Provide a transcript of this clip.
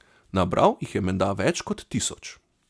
Nabral jih je menda več kot tisoč.